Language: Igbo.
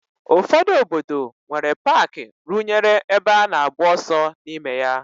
Ụfọdụ obodo nwere paaki rụnyere ebe a na-agba ọsọ n'ime ya.